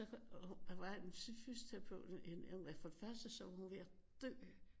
Der var en fysioterapeut for det første så var hun ved at dø